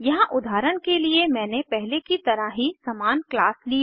यहाँ उदाहरण के लिए मैंने पहले की तरह ही समान क्लास ली है